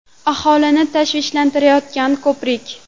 Aholini tashvishlantirayotgan ko‘prik.